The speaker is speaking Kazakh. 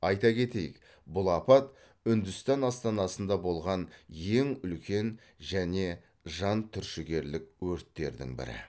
айта кетейік бұл апат үндістан астанасында болған ең үлкен және жан түршігерлік өрттердің бірі